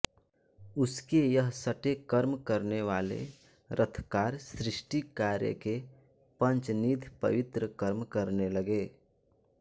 उसके यह षटेकर्म करने वाले रथकार सृष्टि कार्य के पंचनिध पवित्र कर्म करने लगे